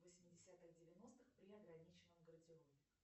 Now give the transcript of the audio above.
восьмидесятых девяностых при ограниченном гардеробе